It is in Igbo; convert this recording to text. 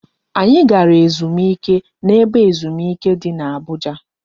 Anyị gara ezumike na ebe ezumike di n'Abuja